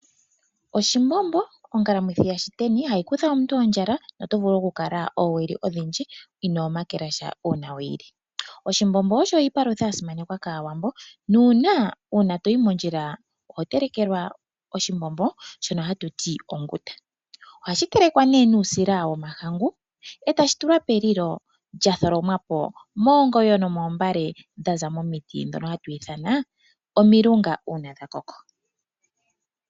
Oshimbombo ,ongalamwithi yaShiteni hayi kutha omuntu ondjala noto vulu oku kala oowili odhindji inoo makela sha uuna we yi li. Oshimbombo osho iipalutha ya simanekwa kAawambo nuuna uuna toyi mondjila oho telekelwa oshimbombo shono hatu ti onguta. Ohashi telekwa nee nuusila womahangu e ta shi tulwa pelilo lya tholomwapo moongoyo nomoombale dha za momiti ndhono hatu ithana omilunga uuna dha koko.